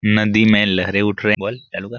नदी में लहिरे उठ रहै बोल हैल्लो कर --